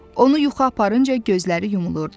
Onu yuxu aparınca gözləri yumulurdu.